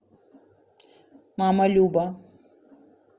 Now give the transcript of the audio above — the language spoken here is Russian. мама люба